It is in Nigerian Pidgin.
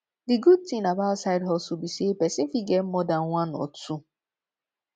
di good thing about side hustle be say persin fit get more than one or two